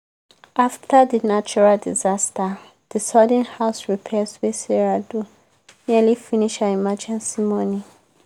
after the natural disaster the sudden house repairs wey sarah do nearly finish her emergency money.